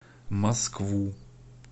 москву